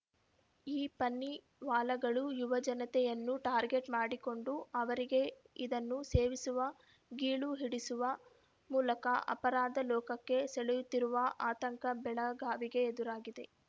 ಈ ಪನ್ನಿವಾಲಾಗಳು ಯುವ ಜನತೆಯನ್ನು ಟಾರ್ಗೆಟ್‌ ಮಾಡಿಕೊಂಡು ಅವರಿಗೆ ಇದನ್ನು ಸೇವಿಸುವ ಗೀಳು ಹಿಡಿಸುವ ಮೂಲಕ ಅಪರಾಧ ಲೋಕಕ್ಕೆ ಸೆಳೆಯುತ್ತಿರುವ ಆತಂಕ ಬೆಳಗಾವಿಗೆ ಎದುರಾಗಿದೆ